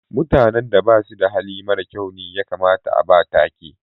Mutane da basu da Hali mara kyau ne ya kamata a'ba take.